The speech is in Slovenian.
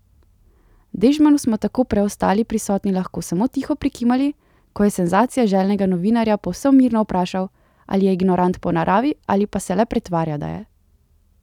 Dežmanu smo tako preostali prisotni lahko samo tiho prikimali, ko je senzacije željnega novinarja povsem mirno vprašal, ali je ignorant po naravi ali pa se le pretvarja, da je.